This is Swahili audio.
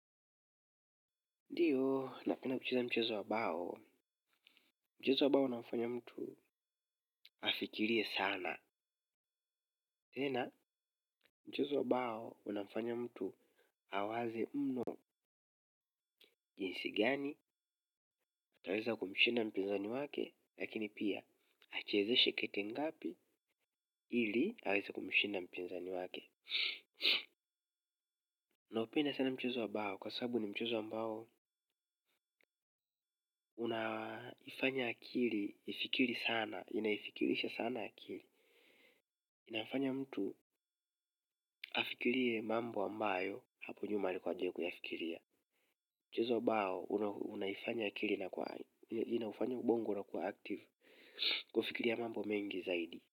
Ndiyo, napenda kucheza mchezo wa bao, mchezo wa bao unafanya mtu afikirie sana tena mchezo wa bao unafanya mtu awaze mno jinsi gani, ataweza kumshinda mpinzani wake, lakini pia achezeshe kete ngapi ili aweze kumshinda mpinzani wake naupenda sana mchezo wa bao, kwa sababu ni mchezo ambao unaifanya akili, ifikiri sana, inaifikirisha sana akili inafanya mtu afikirie mambo ambayo hapo nyuma alikuwa hajawai kuyafikiria mchezo wa bao unaifanya akili inakuwa inafanya ubongo unakuwa active kufikiria mambo mengi zaidi.